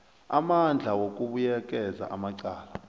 amandla wokubuyekeza amacala